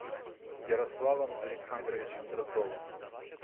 ярославом александровичем дроздовым